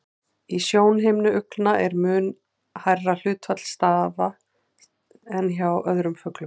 Í sjónhimnu uglna er mun hærra hlutfall stafa en hjá öðrum fuglum.